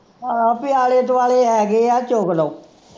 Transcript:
ਹਾਂ ਤੇ ਆਲੇ ਦੁਆਲੇ ਹੈਗੇ ਹੈ ਚੁਗ ਲਓ